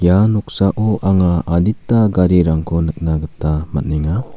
ia noksao anga adita garirangko nikna gita man·enga.